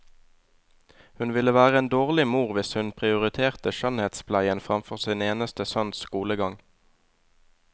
Hun ville være en dårlig mor hvis hun prioriterte skjønnhetspleien framfor sin eneste sønns skolegang.